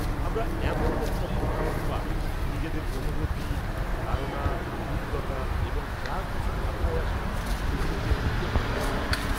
-আমরা এমন একটা পদ্ধতি পাই নিজেদের অনুভূতি, ধারণা, অভিজ্ঞতা এবং যা কিছু মাথায় আসে সেগুলোকে লিখে প্রকাশ করার।